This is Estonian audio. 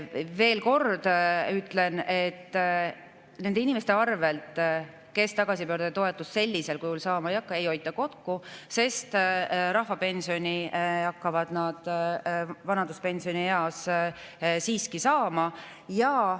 Veel kord ütlen, et nende inimeste arvelt, kes tagasipöörduja toetust sellisel kujul saavad, ei hoita kokku, sest rahvapensioni hakkavad nad vanaduspensionieas siiski saama.